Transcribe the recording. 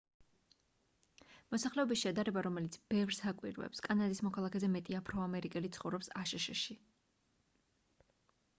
მოსახლეობის შედარება რომელიც ბევრს აკვირვებს კანადის მოქალაქეზე მეტი აფრო-ამერიკელი ცხოვრობს აშშ-ში